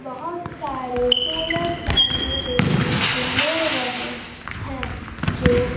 बहुत सारे solar panel देखने को मिल रहे हैं जो--